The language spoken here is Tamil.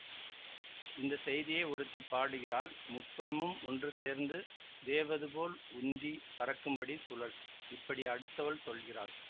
இந்த செய்தியை ஒருத்தி பாடுகிறாள் முப்புறமும் ஒன்றுசேர்ந்து வேவது போல் உந்தி பறக்கும்படி சுழல் இப்படி அடுத்தவள் சொல்கிறாள்